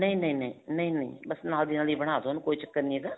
ਨਹੀਂ ਨਹੀਂ ਨਹੀਂ ਨਹੀਂ ਨਹੀਂ ਬੱਸ ਨਾਲ ਦੀ ਨਾਲ ਬਨਾਦੋ ਉਹਨੂੰ ਕੋਈ ਚੱਕਰ ਨਹੀਂ ਹੈਗਾ